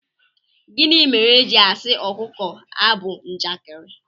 gini mere eji asi akuko a bu njakịrị